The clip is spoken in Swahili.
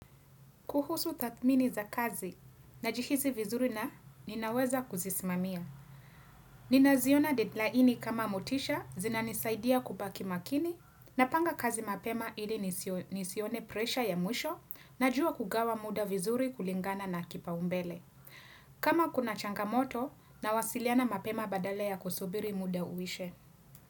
Kuhusu tathmini za kazi najihisi vizuri na ninaweza kuzismamia. Ninaziona deadlini kama motisha zinanisaidia kubaki makini napanga kazi mapema ili nisione presha ya mwisho najua kugawa muda vizuri kulingana na kipaumbele. Kama kuna changamoto na wasiliana mapema badala ya kusubiri muda uishe.